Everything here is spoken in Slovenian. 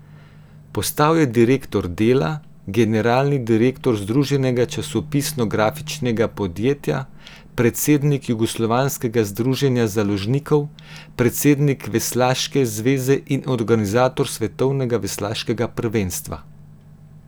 Postal je direktor Dela, generalni direktor združenega časopisno grafičnega podjetja, predsednik jugoslovanskega združenja založnikov, predsednik veslaške zveze in organizator svetovnega veslaškega prvenstva ...